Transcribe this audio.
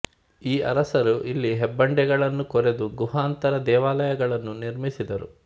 ಈ ಅರಸರು ಇಲ್ಲಿ ಹೆಬ್ಬಂಡೆಗಳನ್ನು ಕೊರೆದು ಗುಹಾಂತರ ದೇವಾಲಯಗಳನ್ನು ನಿರ್ಮಿಸಿದರು